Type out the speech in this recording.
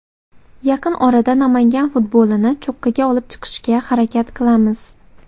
Yaqin orada Namangan futbolini cho‘qqiga olib chiqishga harakat qilamiz.